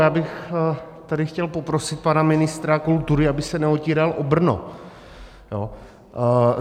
Já bych tady chtěl poprosit pana ministra kultury, aby se neotíral o Brno.